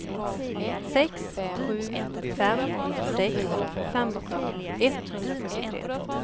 sex sju fem sex femton etthundrafyrtiotre